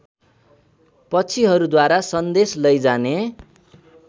पक्षीहरूद्वारा सन्देश लैजाने